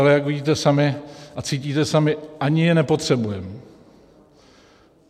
Ale jak vidíte sami a cítíte sami, ani je nepotřebujeme.